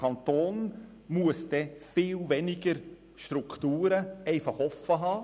Der Kanton muss viel weniger Strukturen offenhalten.